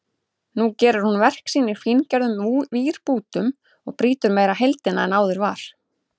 Nú gerir hún verk sín í fíngerðum vírbútum og brýtur meira heildina en áður var.